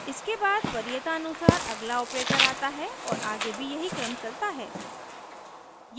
इसके बाद वरीयता अनुसार अगला ऑपरेटर आता है और आगे भी यही क्रम चलता है